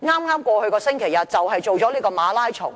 在剛過去的星期日，就舉行了馬拉松項目。